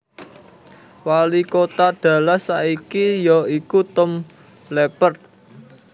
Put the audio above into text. Walikota Dallas saat iki ya iku Tom Leppert